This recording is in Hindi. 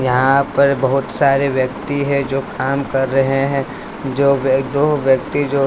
यहां पर बहुत सारे व्यक्ति है जो काम कर रहे हैं जो व्य दो व्यक्ति जो--